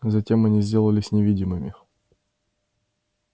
затем они сделались невидимыми